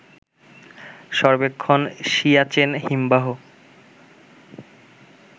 সর্বেক্ষণ সিয়াচেন হিমবাহ